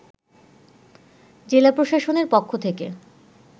জেলা প্রশাসনের পক্ষ থেকে